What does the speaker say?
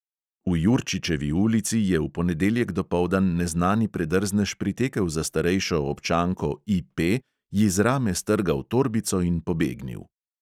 V jurčičevi ulici je v ponedeljek dopoldan neznani predrznež pritekel za starejšo občanko I P, ji z rame strgal torbico in pobegnil.